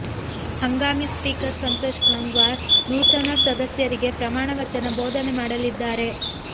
ಹಂಗಾಮಿ ಸ್ಪೀಕರ್ ಸಂತೋಷ್ ಗಂಗ್ವಾರ್ ನೂತನ ಸಂಸದರಿಗೆ ಪ್ರಮಾಣ ವಚನ ಬೋಧನೆ ಮಾಡಲಿದ್ದಾರೆ